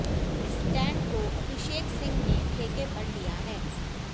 stand को अभिषेक सिंह ने ठेके पर लिया है